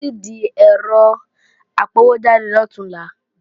Mò ń lọ sìdí ẹ̀rọ apọwójáde lọ̀túnla